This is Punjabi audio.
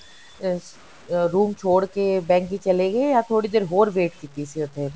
ਇਸ ਅਹ room ਛੋੜ ਕੇ bank ਚਲੇ ਗਏ ਜਾਂ ਥੋੜੀ ਦੇਰ ਹੋਰ wait ਕੀਤੀ ਸੀ ਉੱਥੇ